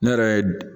Ne yɛrɛ ye